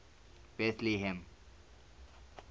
betlehem